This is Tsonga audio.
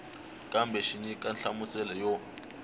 kambe xi nyika nhlamuselo yo